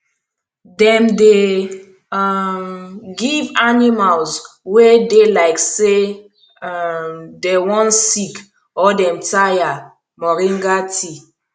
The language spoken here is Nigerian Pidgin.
dem dey um give animals wey dey like say um dem wan sick or dem tire moringa tea